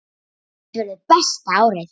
Þetta verður besta árið.